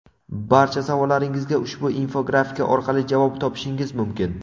Barcha savollaringizga ushbu infografika orqali javob topishingiz mumkin!.